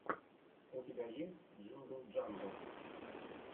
у тебя есть джингл джангл